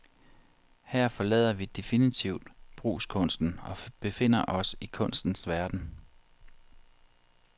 Her forlader vi definitivt brugskunsten og befinder os i kunstens verden.